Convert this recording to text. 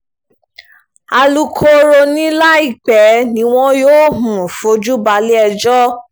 alukoro ni láìpẹ́ ni wọn yóò um fojú balẹ̀-ẹjọ́